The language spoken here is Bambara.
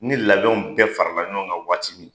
Ni ladon bɛɛ farala ɲɔgɔn kan waati min